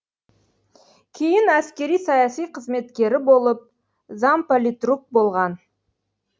кейін әскери саяси қызметкері болып замполитрук болған